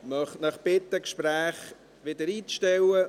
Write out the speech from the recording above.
Ich möchte Sie bitten, die Gespräche wieder einzustellen.